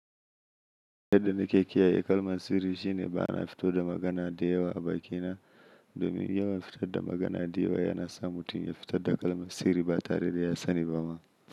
Yadda nake kiyaye kalman sirri shine ba na fito da magana da yawa a bakina. Domin yawan fitar da magana da yawa yana sa mutum ya fitar da kalmar sirri ba tare da ya sani ba ma.